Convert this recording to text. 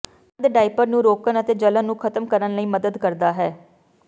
ਸੰਦ ਡਾਇਪਰ ਨੂੰ ਰੋਕਣ ਅਤੇ ਜਲਣ ਨੂੰ ਖ਼ਤਮ ਕਰਨ ਲਈ ਮਦਦ ਕਰਦਾ ਹੈ